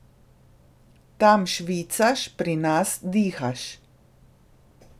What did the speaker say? Tam švicaš, pri nas dihaš.